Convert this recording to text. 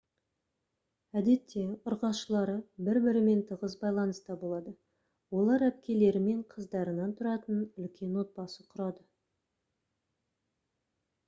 әдетте ұрғашылары бір-бірімен тығыз байланыста болады олар әпкелері мен қыздарынан тұратын үлкен отбасы құрады